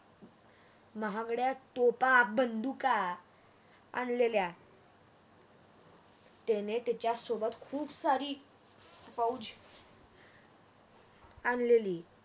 महागळ्या तोफा bandila आणलेले त्याने त्याच्या सोबत खूप सारी फौंज आणलेली